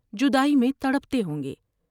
جدائی میں تڑپتے ہوں گے ۔